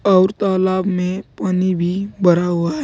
आउर तालाब में पानी भी भरा हुआ है।